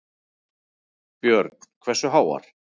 Björn: Hversu háar?